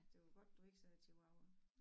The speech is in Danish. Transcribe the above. Det var godt du ikke sagde chihuahua